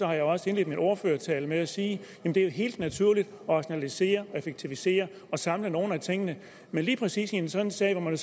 har jeg også indledt min ordførertale med at sige at det er helt naturligt at rationalisere og effektivisere og samle nogle af tingene men lige præcis en sådan sag hvor man